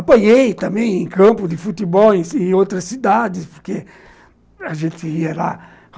Apanhei também em campo de futebol e em outras cidades, porque a gente ia lá.